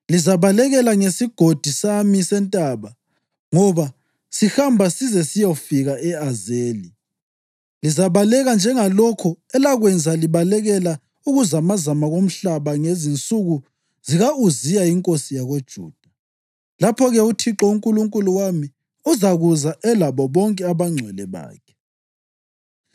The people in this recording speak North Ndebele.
Lizabaleka ngesigodi sami sentaba ngoba sihamba size siyofika e-Azeli. Lizabaleka njengalokho elakwenza libalekela ukuzamazama komhlaba ngezinsuku zika-Uziya inkosi yakoJuda. Lapho-ke uThixo uNkulunkulu wami uzakuza elabo bonke abangcwele bakhe.